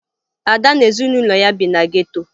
Ada na ezinụlọ ya bi na geto